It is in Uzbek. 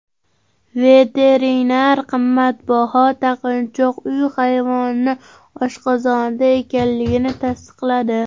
Veterinar qimmatbaho taqinchoq uy hayvonining oshqozonida ekanligini tasdiqladi.